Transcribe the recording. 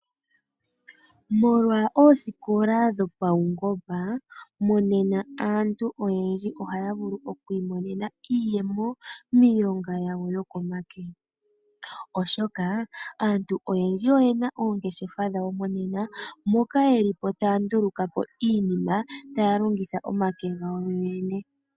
Molwa oosikola dhopaungomba monena aantu oyendji ohaya vulu oku imonena iiyemo miilonga yawo yo ko make. Oshoka aantu oyendji oyena oongeshefa dhawo moka haya nduluka iinima taya longitha omake gawo yoyene.